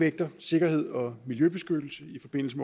vægter sikkerhed og miljøbeskyttelse i forbindelse